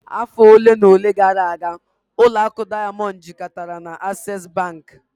Afọ ole na ole gara aga, ụlọ akụ Diamond jikọtara na Access bank